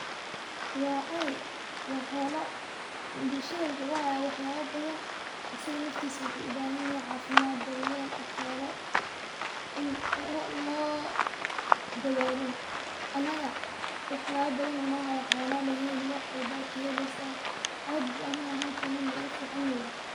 Waa ari waa xolo, bulshada wuxuu uhaya wax yabo badan, asaga naftisa wuxuu u bahan yahay caafimad, daryel dhaqala in loo dadalo, anaga wax yabo badan uu noo haya caana laga heli wax walba kaheleysa, aad bu ana ahantan nugu fican yehe